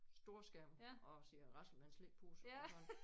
Storskærm og sidde og rasle med slikpose og sådan